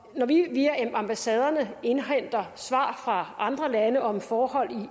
når vi via ambassaderne indhenter svar fra andre lande om forhold